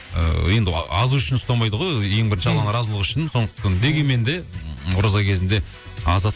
ы енді азу үшін ұстамайды ғой ең бірінші алланың разылығы үшін дегенмен де м ораза кезінде азады